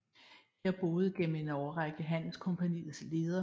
Her boede gennem en årrække handelskompagniets leder